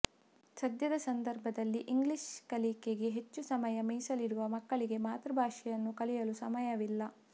ಸದ್ಯದ ಸಂದರ್ಭದಲ್ಲಿ ಇಂಗ್ಲಿಷ್ ಕಲಿಕೆಗೆ ಹೆಚ್ಚು ಸಮಯ ಮೀಸಲಿಡುವ ಮಕ್ಕಳಿಗೆ ಮಾತೃಭಾಷೆಯನ್ನು ಕಲಿಯಲು ಸಮಯವಿಲ್ಲ